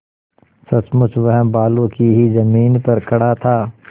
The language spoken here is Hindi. सचमुच वह बालू की ही जमीन पर खड़ा था